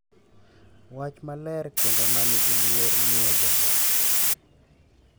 Wach maler kendo ma nigi luor miyo jo ot